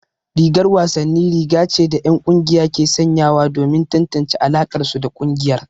Rigar wasanni riga ce da 'yan kungiya ke sanyawa domin tantance alakarsu da kungiyar.